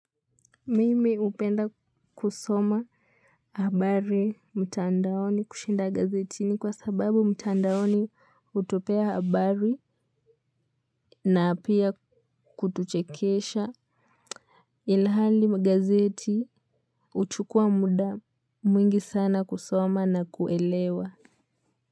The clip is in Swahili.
Mimi upenda kusoma habari mtandaoni kushinda gazetini kwa sababu mtandaoni hutupea habari na apia kutuchekisha ilahali magazeti uchukua muda mwingi sana kusoma na kuelewa.